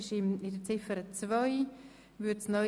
In Ziffer 2 steht neu: